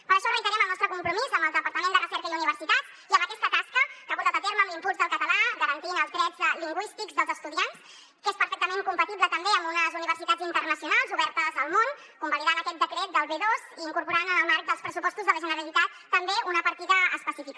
per això reiterem el nostre compromís amb el departament de recerca i universitats i amb aquesta tasca que ha portat a terme amb l’impuls del català garantint els drets lingüístics dels estudiants que és perfectament compatible també amb unes universitats internacionals obertes al món convalidant aquest decret del b2 i incorporant en el marc dels pressupostos de la generalitat també una partida específica